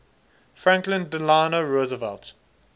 franklin delano roosevelt